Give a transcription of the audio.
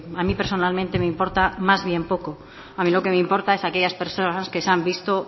a mí personalmente me importa más bien poco a mí lo que me importa es aquellas personas que se han visto